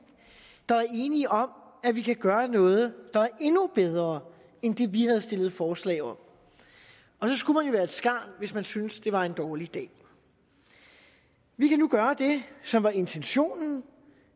der er enige om at vi kan gøre noget der endnu bedre end det vi har stillet forslag om og så skulle være et skarn hvis man synes det var en dårlig idé vi kan nu gøre det som var intentionen